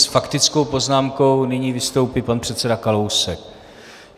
S faktickou poznámkou nyní vystoupí pan předseda Kalousek.